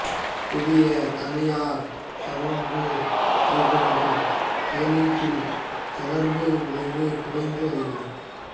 புதிய தனியார் சமபங்கு வைப்புகளின் முதலீட்டில் ஜெகர்வ் விளைவு குறைந்து வருகிறது